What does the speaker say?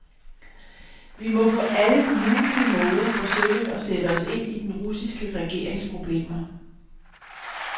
Vi må på alle mulige måder forsøge at sætte os ind i den russiske regerings problemer.